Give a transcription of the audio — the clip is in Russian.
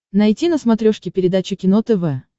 найти на смотрешке передачу кино тв